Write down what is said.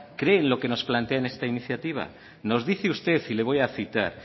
cree en lo que nos plantea en esta iniciativa nos dice usted y le voy a citar